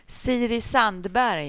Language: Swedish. Siri Sandberg